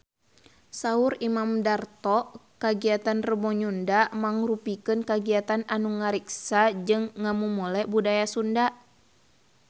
Saur Imam Darto kagiatan Rebo Nyunda mangrupikeun kagiatan anu ngariksa jeung ngamumule budaya Sunda